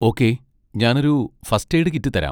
Okay, ഞാനൊരു first aid kit തരാം.